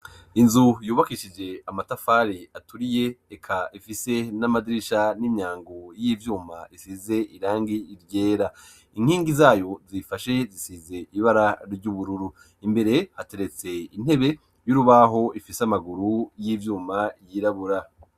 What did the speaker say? Inzu yubakishije amatafare aturiye eka ifise n'amadirisha n'inyangu y'ivyuma isize irangi ryera inkingi zayo zifashe zisize ibara ry'ubururu imbere hateretse intebe y'urubaho ifise amaguru y'ivyuma yirabura.